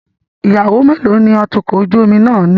Ìyàwó mélòó ni atukọ̀ ojú omi náà ní?